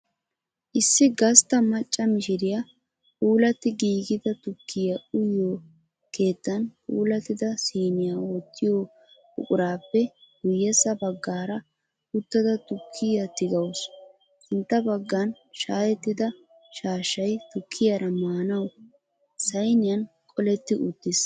Issi gastta macca mishiriyaa puulatti giigida tukkiyaa uyiyoo keettan puulattida siiniya wottiyo buqurappe guyyessa baggaara uttada tukkiyaa tigawusu Sintta baggan shaayettida shaashshay tukkiyara maanawu sayniyan qoletti uttis